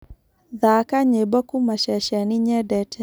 thaka nyĩmbo kũũma ceceni nyendete